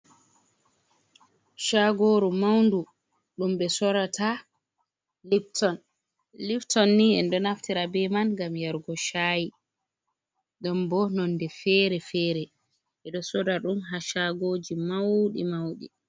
Shagoru maundu ɗum ɓe sorata lipton, liptonni en ɗo naftira be man ngam yargo shayi, ɗon bo nonde fere-fere ɓeɗo sora ɗum ha shagoji mauɗi mauɗi.